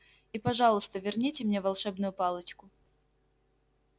и пожалуйста верните мне волшебную палочку